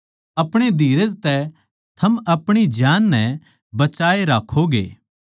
अपणे धीरज तै थम अपणी जान नै बचाए राक्खोगे